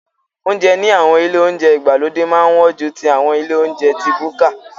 Oúnjẹ ní àwọn ilé oúnjẹ ìgbàlódé máa ń wọ́n ju ti àwọn ilé oúnjẹ ti búkà.